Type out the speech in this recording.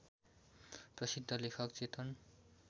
प्रसिद्ध लेखक चेतन